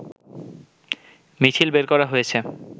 মিছিল বের করা হয়েছে